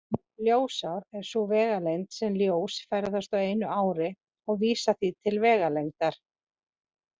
Ljósár er sú vegalengd sem ljós ferðast á einu ári og vísar því til vegalengdar.